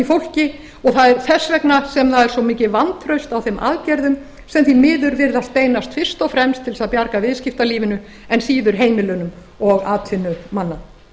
fólki og það er þess vegna sem er svo mikið vantraust á þeim aðgerðum sem því miður virðast beinast fyrst og fremst til að bjarga viðskiptalífinu en síður heimilunum og atvinnu manna